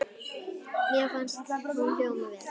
Mér fannst hún hljóma vel.